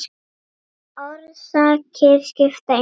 Orsakir skipta engu máli.